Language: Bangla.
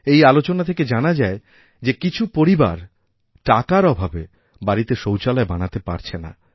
এই আলোচনা থেকে জানা যায় যে কিছু পরিবার টাকার অভাবে বাড়িতেশৌচালয় বানাতে পারছে না